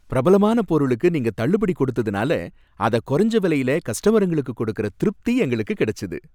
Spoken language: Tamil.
பிரபலமான பொருளுக்கு நீங்க தள்ளுபடி குடுத்ததுனால அத கொறைஞ்ச வேலையில கஸ்ட்டமருங்களுக்கு குடுக்கற திருப்தி எங்களுக்கு கெடச்சுது.